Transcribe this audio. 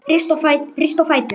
Rístu á fætur